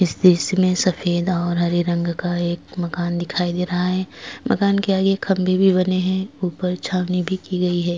इस में सफेद और हरे रंग का एक मकान दिखाई दे रहा हैं मकान के आगे एक खम्बे भी बने हैं ऊपर छावनी भी की गई हैं।